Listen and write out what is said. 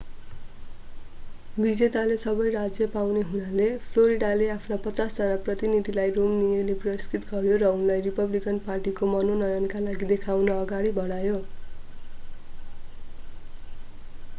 विजेताले सबै राज्य पाउने हुनाले फ्लोरिडाले आफ्ना पचास जना प्रतिनिधिहरूलाई romneyले पुरस्कृत गर्‍यो र उनलाई रिपब्लिकन पार्टीको मनोनयनका लागि देखाउन अगाडि बढायो।